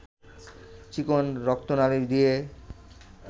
চিকন রক্তনালী দিয়ে